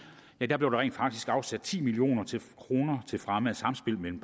rent faktisk blev afsat ti million kroner til fremme af samspillet mellem